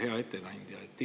Hea ettekandja!